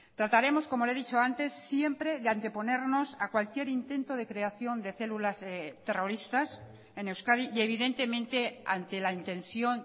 trataremos como le he dicho antes siempre de anteponernos a cualquier intento de creación de células terroristas en euskadi y evidentemente ante la intención